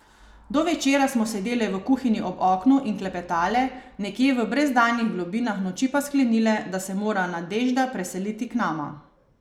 Do večera smo sedele v kuhinji ob oknu in klepetale, nekje v brezdanjih globinah noči pa sklenile, da se mora Nadežda preseliti k nama.